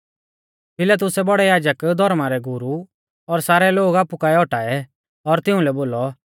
पिलातुसै बौड़ै याजक धौर्मा रै गुरु और सारै लोग आपु काऐ औटाऐ और तिउंलै बोलौ